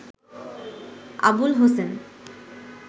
Abul Hossain